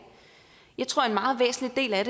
jeg tror en meget væsentlig del af